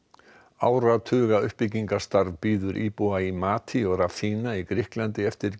áratuga uppbyggingarstarf bíður íbúa í mati og Rafina í Grikklandi eftir